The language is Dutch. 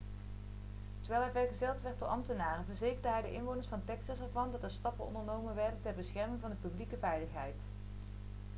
terwijl hij vergezeld werd door ambtenaren verzekerde hij de inwoners van texas ervan dat er stappen ondernomen werden ter bescherming van de publieke veiligheid